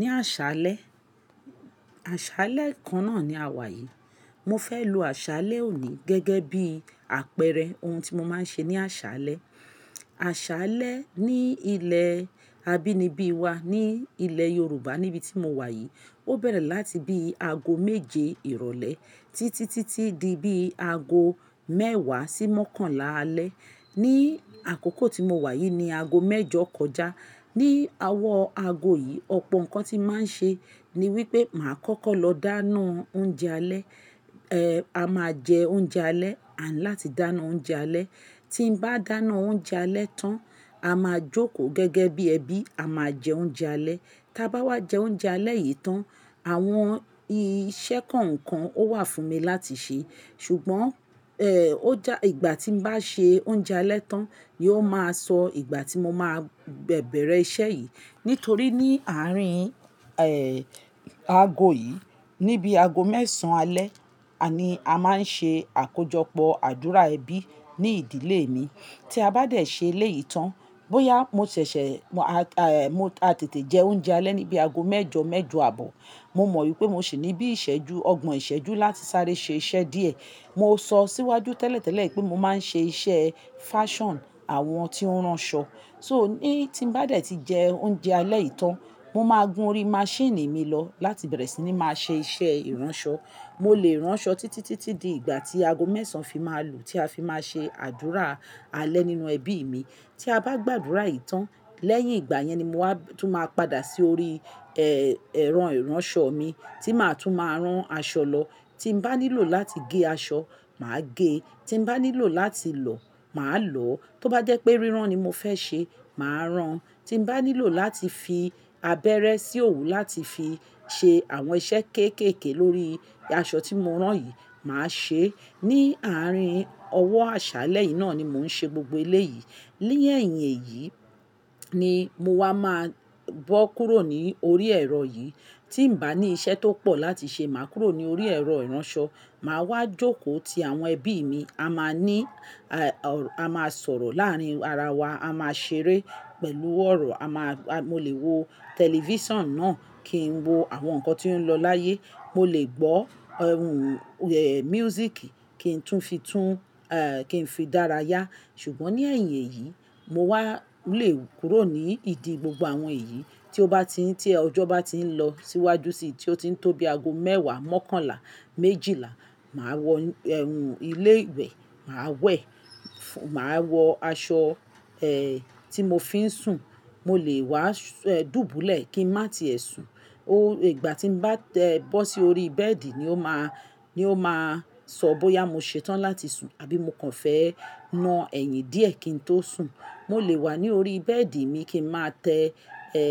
Ní àṣálẹ́, àṣálẹ́ kan náà ni a wà yìí. Mo fẹ́ lo àṣálẹ́ òní gẹ́gẹ́ bí àpẹẹrẹ ohun tí mo máa ń ṣe ní àṣálẹ́. Àṣálẹ́ ní ilẹ̀ abínibí wa, ní ilẹ̀ Yorùbá níbi tí mo wà yìí, ó bẹ̀rẹ̀ láti bí i ago méje ìrọ̀lẹ́ títí, títí di bí i ago mẹ́wàá sí mọ́kànlá alẹ́. Ni àkókò tí mo wà yìí ni ago mẹ́jọ kọjá. Ni owọ̀ ago yìí, ọ̀pọ̀ nǹkan tí màá ṣe ni wípé màá kọ́kọ́ lọ dáná oúnjẹ alẹ́. Ẹ̀, a máa jẹ oúnjẹ alẹ́ àní láti dáná oúnjẹ alẹ́. Tí n bá dáná oúnjẹ alẹ́ tán, a máa jókòó gẹ́gẹ́ bí ẹbí, a máa jẹ oúnjẹ alẹ́. Tí a bá wá jẹ oúnjẹ alẹ́ yìí tán, àwọn iṣẹ́ ko kan ó wà fún mi láti ṣe. Ṣùgbọ́n, ẹ̀, ó já ìgbà tí n bá ṣe oúnjẹ alẹ́ tán ni ó máa sọ ìgbà tí mo máa bẹ̀rẹ̀ iṣẹ́ yìí. Nítorí ní àárín, ẹ́, ago yìí, níbi ago mẹ́sàn-án alẹ́ ni a máa ń ṣe àkójọpọ̀ àdúrà ẹbí ní ìdílé mi. Tí a bá dẹ̀ ṣe eléyìí tán, bóyá mo ṣẹ̀ṣẹ̀, mo, ẹ́, mo a tètè jẹ oúnjẹ alẹ́ níbi ago mẹ́jọ, mẹ́jọ àbọ̀, mo mọ̀ wípé mo sì ní bí i ìṣẹ́jú, ọgbọ̀n ìṣẹ́jú láti sáré ṣe iṣẹ́ díẹ̀. Mo sọ síwájú tẹ́lẹ̀tẹ́lẹ̀ pé mo máa ń ṣe iṣẹ́ fashion àwọn tí ó ń ránṣọ. So ní tí n bá dẹ̀ ti jẹ oúnjẹ alẹ́ yìí tán, mo máa gun orí maṣíìnì mi lọ láti bẹ̀rẹ̀ sí ní máa ṣe iṣẹ́ ìránṣọ. Mo lè ránṣọ títí, títí di ìgbà tí ago mẹ́sàn-án fi máa lù tí a fi máa ṣe àdúrà alẹ́ nínú ẹbí mi. Tí a bá gba àdúrà yìí tán, lẹ́yìn ìgbà yẹn ni mo wá tún máa padà sí orí, ẹ́, ẹ̀rọ ìránṣọ mi tí màá tún máa rán aṣọ lọ. Tí n bá nílò láti gé aṣọ, màá gé. Tí n bá nílò láti lọ̀, màá lọ̀. Tó bá jẹ́ pé rírán ni mo fẹ́ ṣe, màá rán. Tí n bá nílò láti fi abẹ́rẹ́ sí òwú láti fi ṣe àwọn iṣẹ́ kéékèèké lórí aṣọ tí mo rán yìí, màá ṣe é. Ni àárín ọwọ́ àṣálẹ́ yìí náà ni mò ń ṣe gbogbo eléyìí. Lẹ́yìn èyí ni mo wá máa bọ́ kúrò ní orí ẹ̀rọ yìí. Tí n bá ní iṣẹ́ tó pọ̀ láti ṣe, màá kúrò ní orí ẹ̀rọ ìránṣọ. Màá wá jókòó ti àwọn ẹbí mi. A máa ní, a máa sọ̀rọ̀ láàárín ara wa, a máa ṣeré pẹ̀lú ọ̀rọ̀. A máa, mo lè wo tẹlifíṣàn náà kí n wo àwọn nǹkan tí ó ń lọ láyé. Mo lè gbọ́ ohùn, ẹ́, music kí n tún fi tún, ẹ́, kí n fi dára yá. Ṣùgbọ́n ní ẹ̀yìn èyí, mo wá lè kúrò ní ìdí gbogbo àwọn èyí. Tí ó bá ti ń, tí ọjọ́ bá ti ń lọ síwájú síi tí ó ti ń tóbi ago mẹ́wàá, mọ́kànlá, méjìlá, màá wọ ohun ilé ìwẹ̀, màá wẹ̀, màá wọ aṣọ, ẹ́, tí mo fi ń sùn. Mo lè wá, ẹ́, dùbúlẹ̀ kí n má ti ẹ̀ sùn. Ó ìgbà tí n bá tẹ́ ẹ bọ́ sí orí bẹ́ẹ̀dì ni ó máa, ni ó máa sọ bóyá mo ṣetán láti sùn àbí mo kàn fẹ́ na ẹyin díẹ̀ kí n tó sùn. Mo lè wà ní orí bẹ́ẹ̀dì mi kí n máa tẹ, ẹ́,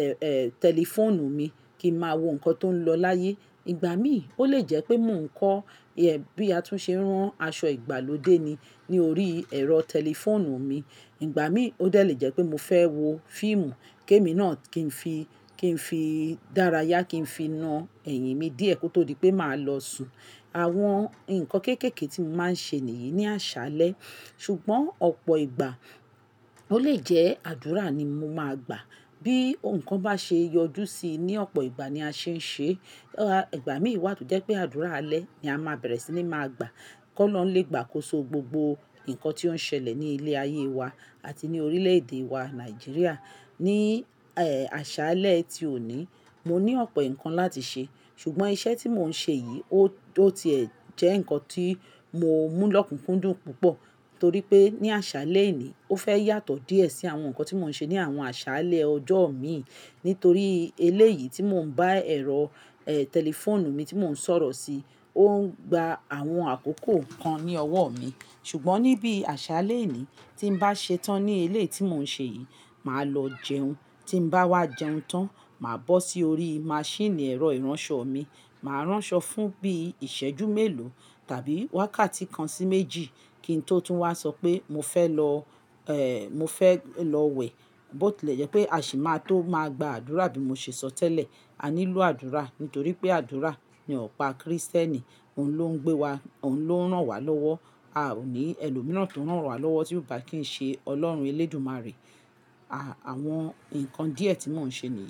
ẹ́, ẹ́, tẹlifóònù mi kí n máa wo nǹkan tó ń lọ láyé. Ìgbà míì ó lè jẹ́ pé mò ń kọ́ bí a tún ṣe ń rán aṣọ ìgbàlódé ni ní orí ẹ̀rọ tẹlifóònù mi. Ìgbà míì ó dè lejẹ́ pé mo fẹ́ wo fíìmù kéémì náà kí n fi, kí n fi í dára yá kí n fi na ẹyin mi díẹ̀ kó tó di pé màá lọ sùn. Àwọn nǹkan kéékèèké tí mo máa ń ṣe nìyí ní àṣálẹ́. Ṣùgbọ́n ọ̀pọ̀ ìgbà ó lè jẹ́ àdúrà ni mo máa gbà. Bí nǹkan bá ṣe yọjú sí i ní ọ̀pọ̀ ìgbà ni a ṣe ń ṣe. Igbà míì wà tó jẹ́ pé àdúrà alẹ́ ni a máa bẹ̀rẹ̀ sí ní máa gbà. Kọ́ olọ̀ọ́un lé gbàá kó so gbogbo nǹkan tí ó ń ṣẹlẹ̀ ní ilẹ̀ ayé wa àti ní orílẹ̀ èdè wa Nàìjíríà. Ni, ẹ́, àṣálẹ́ ti òní, mo ní ọ̀pọ̀ nǹkan láti ṣe, ṣùgbọ́n iṣẹ́ tí mò ń ṣe yìí ó ti ẹ́ jẹ́ nǹkan tí mo mú lọ́kùnkúndùn púpọ̀ torí pé ní àṣálẹ́ eni ó fẹ́ yàtọ̀ díẹ̀ sí àwọn nǹkan tí mò ń ṣe ní àwọn àṣálẹ́ ọjọ́ mi nítorí eléyìí tí mò ń bá ẹ̀rọ, ẹ́, tẹlifóònù mi tí mò ń sọ̀rọ̀ sí, ó ń gba àwọn àkókò kan ní ọwọ́ mi. Ṣùgbọ́n níbi àṣálẹ́ èní ni tí n bá ṣetán ní eléyìí tí mò ń ṣe yìí, màá lọ jẹun. Tí n bá wá jẹun tán, màá bọ́ sí orí maṣíìnì ẹ̀rọ ìránṣọ mi, màá ránṣọ fún bí i ìṣẹ́jú mélòó tàbí wákàtí kan sí méjì kí n tó tún wá sọ pé mo fẹ́ lọ, ẹ́, mo fẹ́ lọ wẹ̀. Bóti lè jẹ́ pé a sì máa tó máa gba àdúrà bí mo ṣe sọ tẹ́lẹ̀. A nílò àdúrà nítorí pé àdúrà ni ọ̀pá Krístẹ́nì. Òun ló ń gbé wa, Òun ló ń rán wa lọ́wọ́. A ò ní ẹlòmíràn tó ń rán wa lọ́wọ́ tí kò bá kí í ṣe Ọlọ́run Elédùmarè. À, àwọn nǹkan díẹ̀ tí mò ń ṣe nìyí.